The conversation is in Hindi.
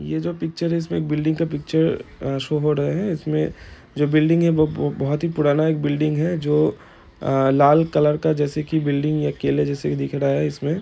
ये जो पिक्चर है इसमे एक बिल्डिंग का पिक्चर अ शो हो रहा है इसमें जो बिल्डिंग है बो-बो-बोहोत पुराना एक बिल्डिंग है जो अ लाल कलर का जैसे की बिल्डिंग केले जैसा दिख रहा है इसमे --